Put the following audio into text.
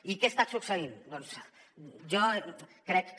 i què ha estat succeint doncs jo crec que